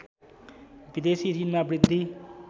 विदेशी ॠणमा वृद्धि